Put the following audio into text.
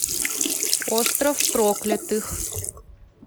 остров проклятых